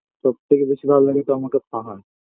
সবথেকে বেশি ভালো লাগে তো আমাকে পাহাড়